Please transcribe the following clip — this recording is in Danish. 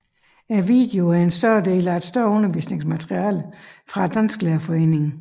Videoen er en del af et større undervisningsmateriale fra Dansklærerforeningen